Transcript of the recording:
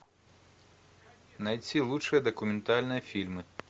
найти лучшие документальные фильмы